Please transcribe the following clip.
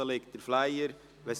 Draussen liegen die Flyer auf.